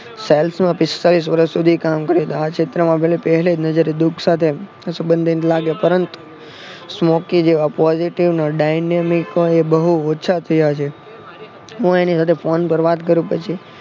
sales માં પિસ્તાળીશ વર્ષ સુધી કામ કરેલા આ ક્ષેત્રમાં ભલે પેહલી જ નજરે દુઃખ સાથે સબંધિત લાગે પરંતુ સ્મોકી જેવા positive બહુ ઓછા થયા છે. હું એની સાથે ફોન પર વાત કરું પછી